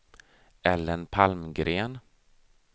Ellen Palmgren